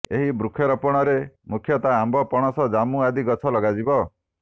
ଏହି ବୃକ୍ଷରୋପଣରେ ମୁଖ୍ୟତଃ ଆମ୍ବ ପଣସ ଜାମୁ ଆଦି ଗଛ ଲଗାଯିବ